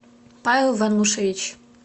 павел ванушевич